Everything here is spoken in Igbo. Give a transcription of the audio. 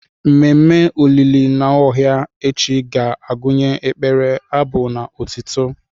Ememme olili Nwaohia echi ga-agụnye ekpere, abụ na otuto.